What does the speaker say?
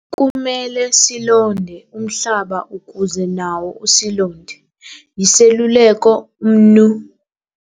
"Kumele silonde umhlaba ukuze nawo usilonde," yiseluleko uMnu.